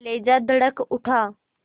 कलेजा धड़क उठा